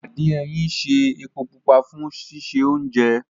Àdín ẹyìn ń ṣe epo pupa fún sísè oúnjẹ